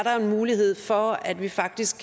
var en mulighed for at vi faktisk